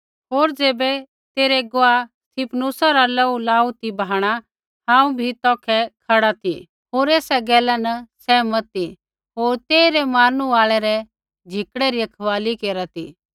होर ज़ैबै तेरै गुआह स्तिफनुसा रा लोहू लाऊ ती बहाणा हांऊँ बी तौखै खड़ा ती होर एसा गैला न सहमत ती होर तेइरै मारनू आल़ै रै झिकड़ै री रखवाली केरा ती